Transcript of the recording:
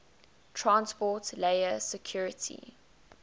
transport layer security